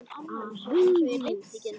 Hann myndi ekki heyra hana.